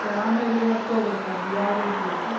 ಆಮೇಲೆ ಮರ್ಥ್ಹೊಗುತ್ತೆ ಅದು ಯಾವ್ ರೀತಿ ಅಂತ